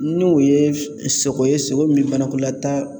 N'o ye sogo ye sogo min banakɔlataga